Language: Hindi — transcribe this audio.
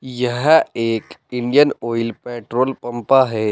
यह एक इंडियन ऑयल पेट्रोल पंपा है।